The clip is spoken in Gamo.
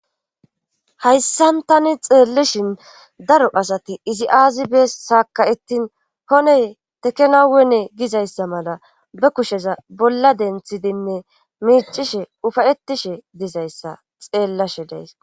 haysan tani xeellishin daro asati izi aazi bes saaka7etin hone tekenawone gizayssa mala ba kushe bolla denttidinne miiccishe ufa7ettishe dizayssa xeelashe days.